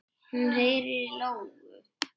Hún heyrir í lóu.